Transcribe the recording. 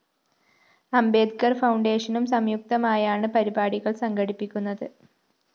അംബേദ്കര്‍ ഫൗണ്ടേഷനും സംയുക്തമായാണ് പരിപാടികള്‍ സംഘടിപ്പിക്കുന്നത്